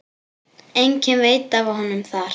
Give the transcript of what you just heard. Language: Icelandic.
Enginn veit af honum þar.